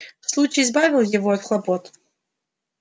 случай избавил его от хлопот